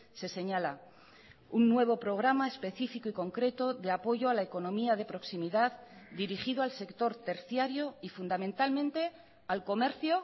se señala un nuevo programa específico y concreto de apoyo a la economía de proximidad dirigido al sector terciario y fundamentalmente al comercio